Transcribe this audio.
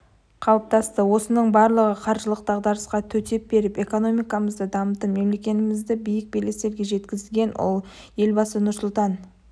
қалыптасты осының барлығы қаржылық дағдарысқа төтеп беріп экономикмызды дамытып мемлекетімізді биік белестерге жеткізген елбасы нұрсұлтан